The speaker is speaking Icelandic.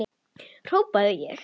hrópaði ég.